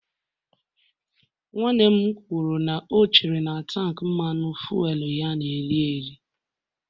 Nwanne m kwuru na o chere na tank Mmanụ fuelu ya na-eri eri